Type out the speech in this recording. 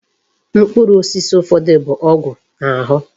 Mkpụrụ osisi ụfọdụ bụ ọgwụ na-ahụ.